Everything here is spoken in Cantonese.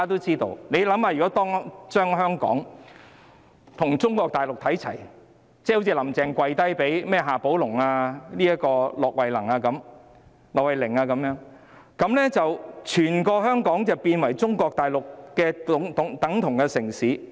試想想，如果香港與中國大陸看齊，好像"林鄭"向夏寶龍、駱惠寧"跪低"，整個香港便會變成與中國大陸的城市一樣。